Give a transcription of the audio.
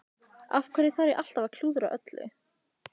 Af hverju þarf ég alltaf að klúðra öllu?